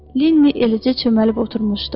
Lenni eləcə çöməlib oturmuşdu.